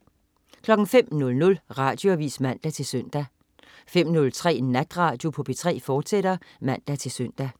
05.00 Radioavis (man-søn) 05.03 Natradio på P3, fortsat (man-søn)